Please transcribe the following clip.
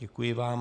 Děkuji vám.